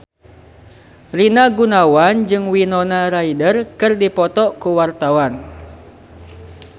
Rina Gunawan jeung Winona Ryder keur dipoto ku wartawan